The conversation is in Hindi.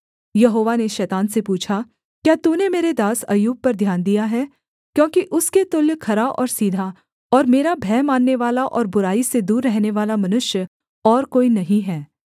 यहोवा ने शैतान से पूछा क्या तूने मेरे दास अय्यूब पर ध्यान दिया है क्योंकि उसके तुल्य खरा और सीधा और मेरा भय माननेवाला और बुराई से दूर रहनेवाला मनुष्य और कोई नहीं है